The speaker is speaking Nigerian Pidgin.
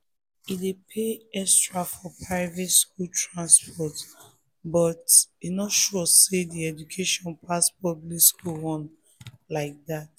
e dey pay extra for private school transport but e no sure say the education pass public one like that